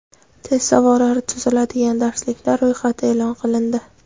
Test savollari tuziladigan darsliklar ro‘yxati e’lon qilindi.